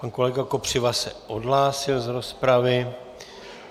Pan kolega Kopřiva se odhlásil z rozpravy.